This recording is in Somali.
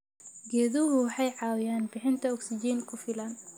Geeduhu waxay caawiyaan bixinta ogsijiin ku filan.